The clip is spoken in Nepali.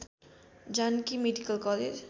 Janaki medical college